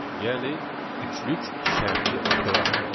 Yəni üçlük şərti operatoru.